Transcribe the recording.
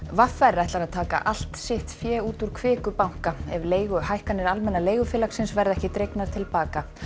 v r ætlar að taka allt sitt fé úr Kviku banka ef leiguhækkanir Almenna leigufélagsins verða ekki dregnar til baka